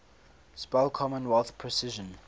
spell commonwealth precision